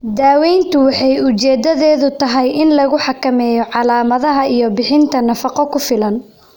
Daaweyntu waxay ujeedadeedu tahay in lagu xakameeyo calaamadaha iyo bixinta nafaqo ku filan.